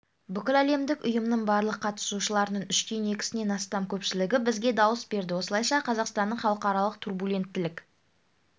бүкіләлемдік ұйымның барлық қатысушыларының үштен екісінен астам көпшілігі бізге дауыс берді осылайша қазақстанның халықаралық турбуленттілік